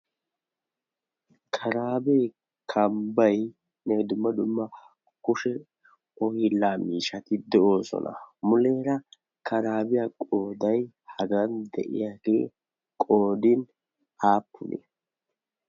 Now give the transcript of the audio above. karaabee kambbai nee dumma dumma kushe ohilaami shatidi doosona muleera karaabiya qoodai hagan de'iya gi qodin aappunee?